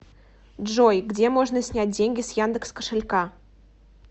джой где можно снять деньги с яндекс кошелька